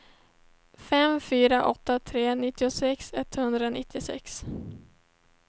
fem fyra åtta tre nittiosex etthundranittiosex